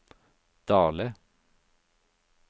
Dale